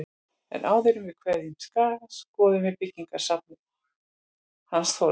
En áður en við kveðjum Skóga skoðum við byggðasafnið hans Þórðar.